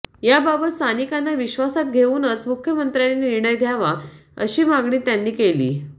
याबाबत स्थानिकांना विश्वासात घेऊनच मुख्यमंत्र्यांनी निर्णय घ्यावा अशी मागणी त्यांनी केली